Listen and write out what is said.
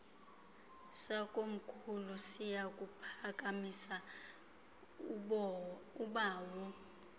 sakomkhulu siyakuphakamisa ubawo